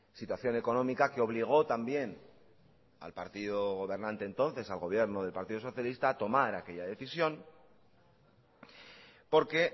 situación económica que obligó también al partido gobernante entonces al gobierno del partido socialista a tomar aquella decisión porque